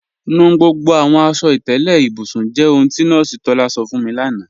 Nù gbogbo àwọn aṣọ-ìkẹlẹ̀ ìbùsùn jẹ́ ohun tí Nọọsi Tọlá sọ̀ fún mi lána.